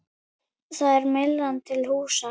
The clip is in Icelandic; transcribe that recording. Þar er Myllan til húsa.